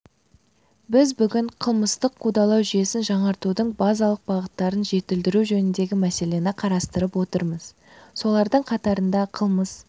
біз бүгін қылмыстық қудалау жүйесін жаңғыртудың базалық бағыттарын жетілдіру жөніндегі мәселені қарастырып отырмыз солардың қатарында қылмыс